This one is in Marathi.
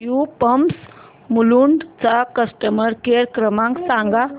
एसयू पंप्स मुलुंड चा कस्टमर केअर क्रमांक सांगा